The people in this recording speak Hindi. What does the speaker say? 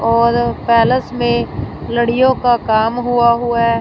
और पैलेस में लड़ियों का काम हुआ हुआ है।